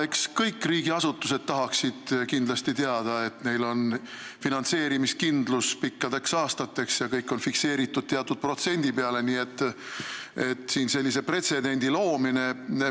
Eks kõik riigiasutused tahaksid kindlasti teada, et neil on finantseerimiskindlus pikkadeks aastateks ja saadav raha on teatud protsendina fikseeritud.